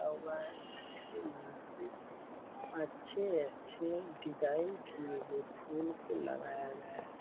हुआ है। जिसके नीचे अच्छे- अच्छे डिजाइन किए हुए फूल को लगाया गया है।